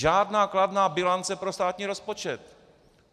Žádná kladná bilance pro státní rozpočet.